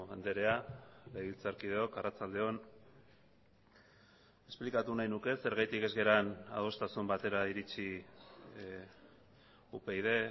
andrea legebiltzarkideok arratsalde on esplikatu nahi nuke zergatik ez garen adostasun batera iritsi upyd